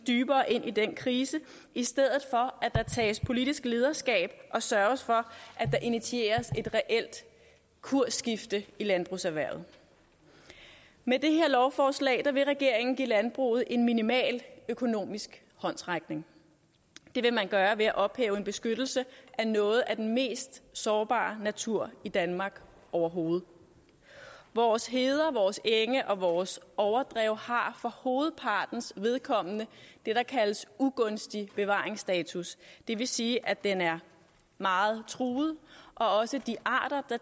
dybere ind i den krise i stedet for at der tages politisk lederskab og sørges for at der initieres et reelt kursskifte i landbrugserhvervet med det her lovforslag vil regeringen give landbruget en minimal økonomisk håndsrækning det vil man gøre ved at ophæve en beskyttelse af noget af den mest sårbare natur i danmark overhovedet vores heder vores enge og vores overdrev har for hovedpartens vedkommende det der kaldes ugunstig bevaringsstatus det vil sige at den er meget truet og også de arter der